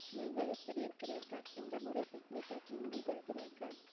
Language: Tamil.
நீங்கள் எப்படி இருக்கிறீர்கள் இந்த முறை picnic எங்கு செல்கிறீர்கள்